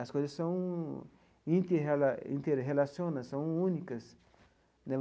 As coisas são interrela interrelacionas, são únicas né.